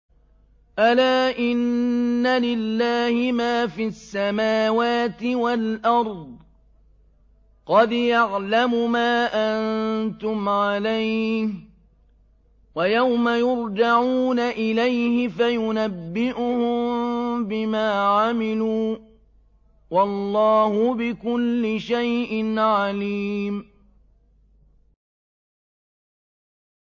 أَلَا إِنَّ لِلَّهِ مَا فِي السَّمَاوَاتِ وَالْأَرْضِ ۖ قَدْ يَعْلَمُ مَا أَنتُمْ عَلَيْهِ وَيَوْمَ يُرْجَعُونَ إِلَيْهِ فَيُنَبِّئُهُم بِمَا عَمِلُوا ۗ وَاللَّهُ بِكُلِّ شَيْءٍ عَلِيمٌ